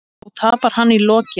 Þó tapar hann í lokin.